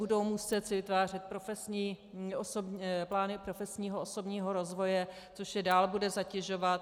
Budou si muset vytvářet plány profesního osobního rozvoje, což je dál bude zatěžovat.